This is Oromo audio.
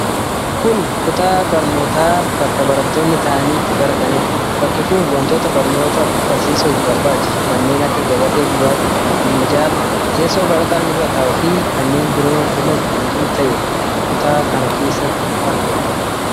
Kun kutaa barnootaa bakka barattoonni taa'anii itti barataniidha. Bakki kun wantoota barnoota barsiisuuf barbaachisu kanneen akka gabatee gurraachaa, minjaala, teessoo barataan irra taa'u fi kanneen biroon bifa guutuu ta'ee kutaa kana keessatti argamu.